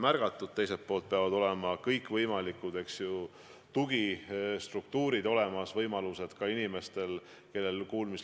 Järgmisena küsib Urve Tiidus ja vastab riigihalduse minister Jaak Aab.